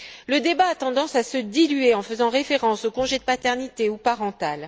Le débat a tendance à se diluer en faisant référence aux congés de paternité ou parental.